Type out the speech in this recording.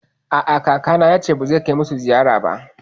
A'a, kakana yace ba zai kai musu ziyara ba